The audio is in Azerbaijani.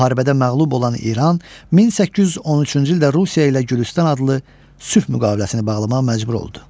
Müharibədə məğlub olan İran 1813-cü ildə Rusiya ilə Gülüstan adlı sülh müqaviləsini bağlamağa məcbur oldu.